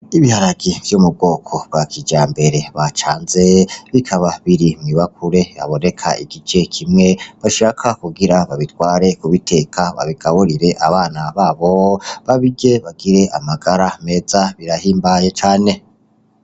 Ibiharage vyo mu bwoko bwa kijambere bacanze, bikaba biri mw'ibakure haboneka igice kimwe, bashaka kugira babitware kubiteka, babigaburire abana babo babirye, bagire amagara meza, birahimbaye cane.